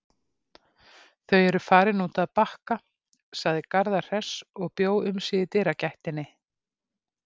Þau eru farin út að Bakka, sagði Garðar hress og bjó um sig í dyragættinni.